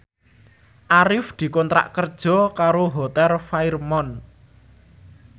Arif dikontrak kerja karo Hotel Fairmont